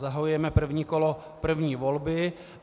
Zahajujeme první kolo první volby.